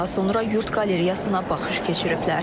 Daha sonra yurd qalereyasına baxış keçiriblər.